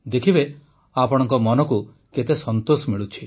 ଦେଖିବେ ଆପଣଙ୍କ ମନକୁ କେତେ ସନ୍ତୋଷ ମିଳୁଛି